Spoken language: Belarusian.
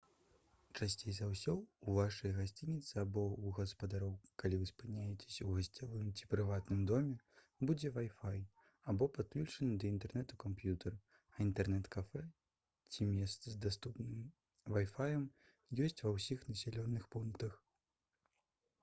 часцей за ўсё ў вашай гасцініцы або ў гаспадароў калі вы спыняецеся ў гасцявым ці прыватным доме будзе вай-фай або падключаны да інтэрнэту камп'ютар а інтэрнэт-кафэ ці месца з даступным вай-фаем ёсць ва ўсіх населеных пунктах